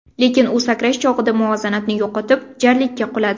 Lekin u sakrash chog‘ida muvozanatni yo‘qotib, jarlikka quladi.